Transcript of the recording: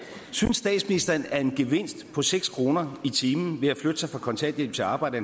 synes statsministeren at en gevinst på seks kroner i timen ved at flytte sig fra kontanthjælp til arbejde